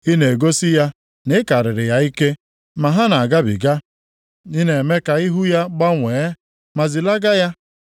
Ị na-egosi ya na ị karịrị ya ike, ma ha na-agabiga; ị na-eme ka ihu ya gbanwee, ma zilaga ya.